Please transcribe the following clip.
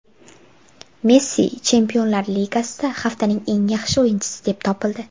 Messi Chempionlar Ligasida haftaning eng yaxshi o‘yinchisi deb topildi.